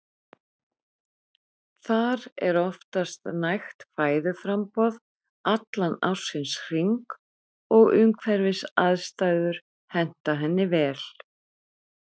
Þar er oftast nægt fæðuframboð allan ársins hring og umhverfisaðstæður henta henni vel.